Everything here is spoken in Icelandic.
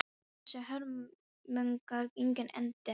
Áttu þessar hörmungar engan endi að taka?